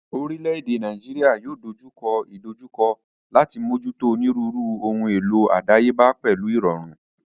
Orílẹ̀ èdè Nàíjíríà yóò dojú kọ ìdojúkọ láti mójútó onírúurú ohun èlò àdáyébá pẹ̀lú ìrọ̀rùn.